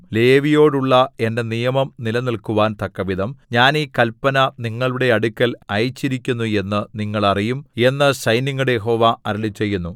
ലേവിയോടുള്ള എന്റെ നിയമം നിലനിൽക്കുവാൻ തക്കവിധം ഞാൻ ഈ കല്പന നിങ്ങളുടെ അടുക്കൽ അയച്ചിരിക്കുന്നു എന്നു നിങ്ങൾ അറിയും എന്നു സൈന്യങ്ങളുടെ യഹോവ അരുളിച്ചെയ്യുന്നു